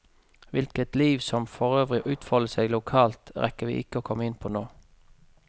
Hvilket liv som forøvrig utfolder seg lokalt, rekker vi ikke å komme inn på nå.